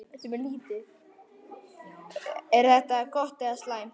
Er þetta gott eða slæmt?